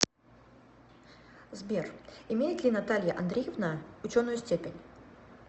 сбер имеет ли наталья андреевна ученую степень